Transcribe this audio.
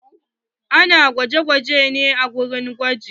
Ana gwaje-gwaje ne a wurin gwaji.